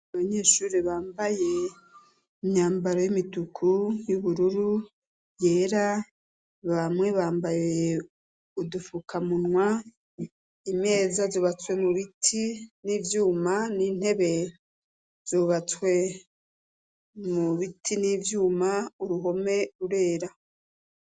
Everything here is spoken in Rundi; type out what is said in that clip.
Abanyeshuri bambaye imyambaro y'imituku, y'ubururu, yera, bamwe bambaye udufukamunwa, imeza zubatswe mu biti n'ivyuma, n'intebe zubatswe mu biti n'ivyuma, uruhome rurera.